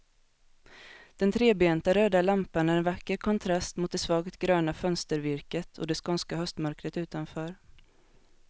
Den trebenta röda lampan är en vacker kontrast mot det svagt gröna fönstervirket och det skånska höstmörkret utanför.